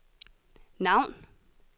navn